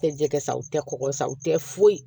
Tɛ jɛkɛ sa u tɛ kɔkɔ san u tɛ foyi